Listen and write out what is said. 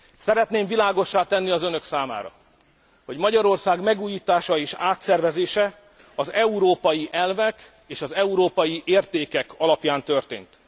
Szeretném világossá tenni az önök számára, hogy Magyarország megújítása és átszervezése az európai elvek és az európai értékek alapján történt.